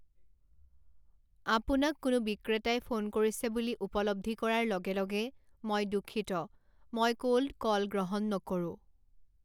আপোনাক কোনো বিক্ৰেতাই ফোন কৰিছে বুলি উপলৱ্ধি কৰাৰ লগে লগে, মই দুঃখিত, মই 'কোল্ড কল' গ্ৰহণ নকৰোঁ।